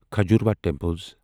Khajuraho temples